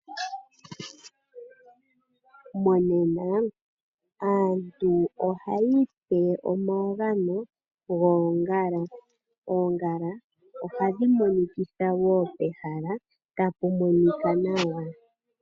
Monena, aantu ohayi ipe omagano goongala. Oongala ohadhi monikitha wo pehala, tapu monika nawa.